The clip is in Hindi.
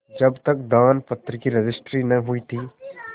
जब तक दानपत्र की रजिस्ट्री न हुई थी